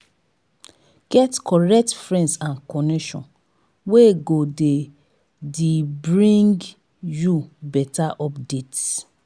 get correct friends and connection wey go de d bring you better updates